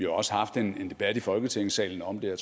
også haft en debat i folketingssalen om det og